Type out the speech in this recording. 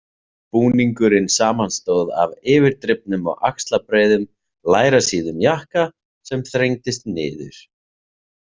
Búningurinn samanstóð af yfirdrifnum og axlabreiðum, lærasíðum jakka sem þrengdist niður.